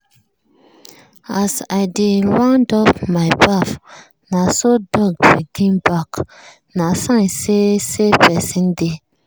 as i dey round up my baff na so dog begin bark – na sign say say person dey.